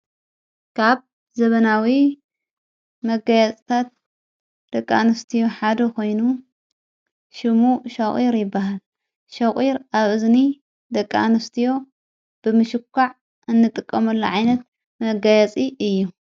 ካብ ዘበናዊ መጋያታት ደቃ ንስትዮ ሓዶ ኾይኑ፤ ሽሙ ሸቝር ይበሃል ሸቝር ኣብ እዝኒ ደቃንስትዮ ብምሽቋዕ እንጥቀሙ ላዓይነት መጋያጺ እዩ።